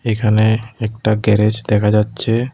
एक हमें एकटा गैरेज देखा जा च्छे--